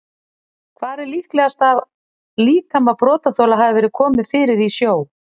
Hvar er líklegast að líkama brotaþola hafi verið komið fyrir í sjó?